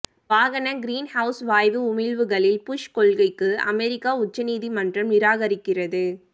வாகன கிரீன்ஹவுஸ் வாயு உமிழ்வுகளில் புஷ் கொள்கைக்கு அமெரிக்க உச்ச நீதிமன்றம் நிராகரிக்கிறது